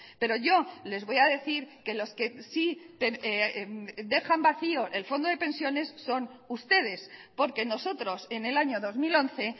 pero yo les voy a decir que los que sí dejan vacío el fondo de pensiones son ustedes porque nosotros en el año dos mil once